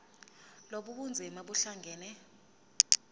lobu bunzima buhlangane